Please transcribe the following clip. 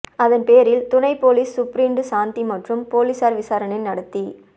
அதன் பேரில் துணை போலீஸ் சூப்பிரண்டு சாந்தி மற்றும் போலீசார் விசாரணை நடத்தி